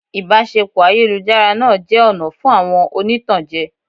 Ìbáṣepọ̀ ayélujára náà jẹ́ ọ̀nà fún àwọn oní ìtànjẹ.